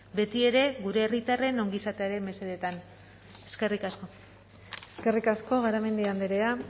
beti ere gure herritarren ongizatearen mesedetan eskerrik asko eskerrik asko garamendi andrea